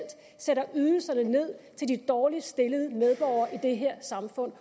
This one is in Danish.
sætter ydelserne til de dårligst stillede medborgere i det her samfund